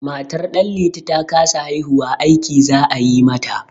Matar Ɗanliti ta kasa haihuwa, aiki za a yi mata.